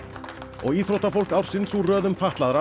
og íþróttafólk ársins úr röðum fatlaðra